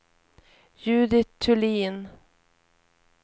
Judit Thulin